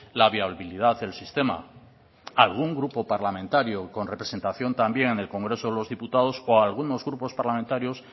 la viabilidad del sistema algún grupo parlamentario con representación también en el congreso de los diputados o algunos grupos parlamentarios